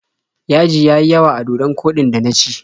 Yaji ya yi yawa a dodon koɗin da na ci.